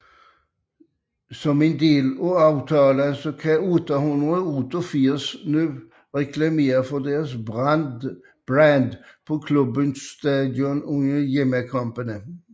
Som en del af aftalen kan 888 nu reklamere for deres brand på klubbens stadion under hjemmekampe